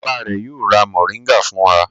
Bàbá rẹ̀ yóò ra mòríngà fún wa.